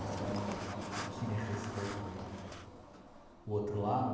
Então, o que me restou foi o outro lado.